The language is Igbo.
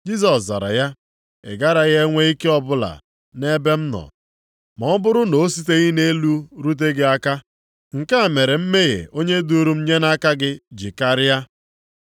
Jisọs zara ya, “Ị garaghị enwe ike ọbụla nʼebe m nọ, ma ọ bụrụ na o siteghị nʼelu rute gị aka. Nke a mere mmehie onye duru m nye nʼaka gị ji karịa.”